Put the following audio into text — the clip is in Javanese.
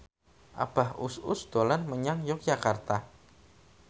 Abah Us Us dolan menyang Yogyakarta